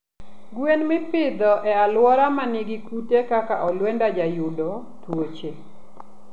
Gwen mipidho e aluora manigi kute kaka olwenda jayudo tuoche